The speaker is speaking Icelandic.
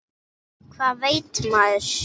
Hvað veit maður?